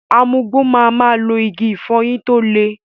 Amugbò ma ma lo Igi ìfọyín tó le.